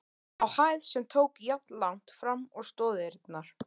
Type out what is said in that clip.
á hæð, sem tók jafnlangt fram og stoðirnar.